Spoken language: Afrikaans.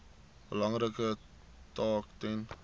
belangrike taak ten